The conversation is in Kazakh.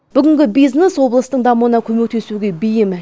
бүгінгі бизнес облыстың дамуына көмектесуге бейім